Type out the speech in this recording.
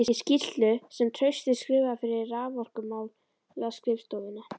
Í skýrslu sem Trausti skrifaði fyrir Raforkumálaskrifstofuna